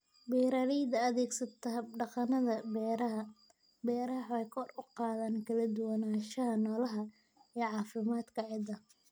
Beeraleyda adeegsata hab-dhaqannada beeraha-beeraha waxay kor u qaadaan kala duwanaanshaha noolaha iyo caafimaadka ciidda.